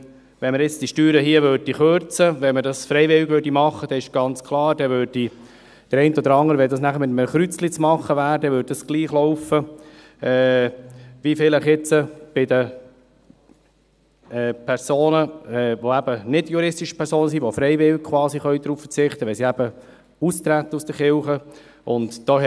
Wenn wir die Steuern hier für freiwillig erklären würden, ist es ganz klar, dass es gleich laufen würde wie bei den natürlichen Personen, die freiwillig auf diese Steuern verzichten können, indem sie aus der Kirche austreten.